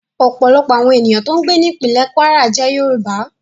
Ọ̀pọ̀lọpọ̀ àwọn ènìyàn tó ń gbé ní ìpínlè Kwara jẹ́ Yorùbá